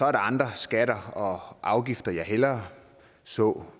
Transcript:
er andre skatter og afgifter jeg hellere så